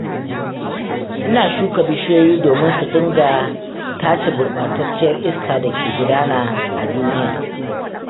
Ina shuka bishiyoyi domin su dinga tace gurɓatacciyar iska da ke gudana a duniya